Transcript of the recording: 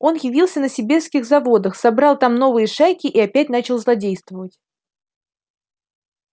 он явился на сибирских заводах собрал там новые шайки и опять начал злодействовать